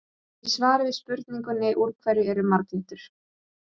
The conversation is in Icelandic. Í svari við spurningunni Úr hverju eru marglyttur?